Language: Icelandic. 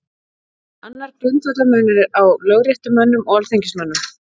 Annar grundvallarmunur er á lögréttumönnum og alþingismönnum.